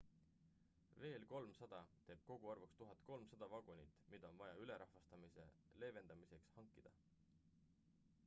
veel 300 teeb koguarvuks 1300 vagunit mida on vaja ülerahvastamise leevedamiseks hankida